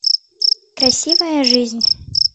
красивая жизнь